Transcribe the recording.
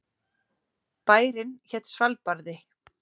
Bærinn hét Svalbarði.